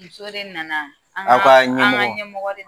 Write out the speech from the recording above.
Muso de nana an ka ; Aw ka ɲɛmɔgɔ ; An ka nɛmɔgkow